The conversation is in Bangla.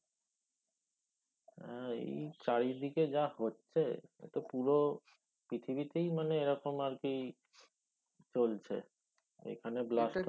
আহ এই চারি দিকে যা হচ্ছে এতো পুরো পৃথিবীতে মানে এই এই রকম আর কি চলছে এখানে blast